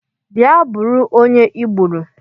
Bịa bụrụ onye I gbùrù!